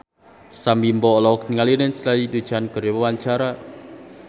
Sam Bimbo olohok ningali Lindsay Ducan keur diwawancara